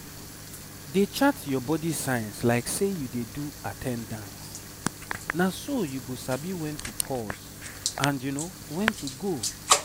dey chart your body signs like say you dey do at ten dance—na so you go sabi when to pause and when to go.